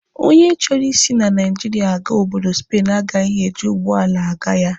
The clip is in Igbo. Onye chọrọ isi na Naijiria aga obodo Spen agaghị eji ụgbọala aga ya